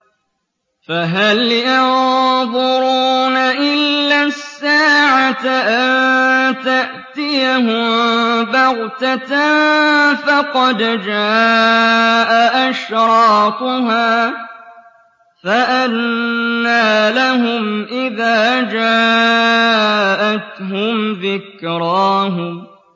فَهَلْ يَنظُرُونَ إِلَّا السَّاعَةَ أَن تَأْتِيَهُم بَغْتَةً ۖ فَقَدْ جَاءَ أَشْرَاطُهَا ۚ فَأَنَّىٰ لَهُمْ إِذَا جَاءَتْهُمْ ذِكْرَاهُمْ